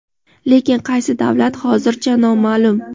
lekin qaysi davlat hozircha noma’lum.